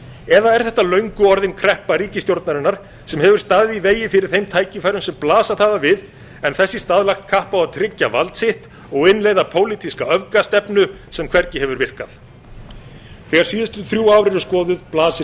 eða er þetta löngu orðin kreppa ríkisstjórnarinnar sem hefur staðið í vegi fyrir þeim tækifærum sem blasað hafa við en þess í stað lagt kapp á að tryggja vald sitt og innleiða pólitíska öfgastefnu sem hvergi hefur virkað þegar síðustu þrjú ár eru skoðuð blasir